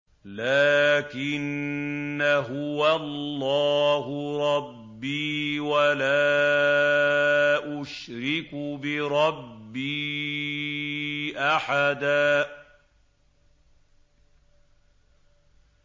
لَّٰكِنَّا هُوَ اللَّهُ رَبِّي وَلَا أُشْرِكُ بِرَبِّي أَحَدًا